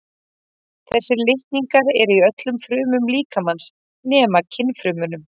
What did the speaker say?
þessir litningar eru í öllum frumum líkamans nema kynfrumunum